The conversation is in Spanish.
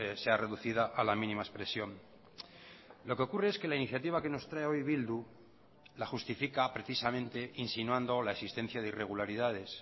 sea reducida a la mínima expresión lo que ocurre es que la iniciativa que nos trae hoy bildu la justifica precisamente insinuando la existencia de irregularidades